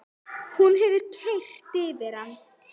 Hún hefur keyrt yfir hann!